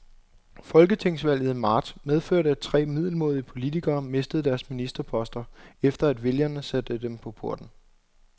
Folketingsvalget i marts medførte, at tre middelmådige politikere mistede deres ministerposter, efter at vælgerne satte dem på porten.